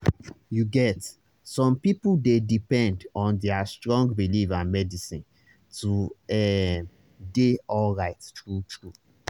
you get some people dey depend on their strong belief and medicine to ehm dey alright true-true.